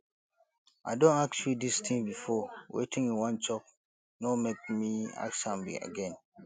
i don ask you dis thing before wetin you wan chop no make me ask am again